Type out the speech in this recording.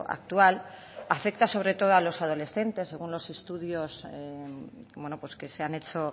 actual afecta sobre todo a los adolescentes según los estudios que se han hecho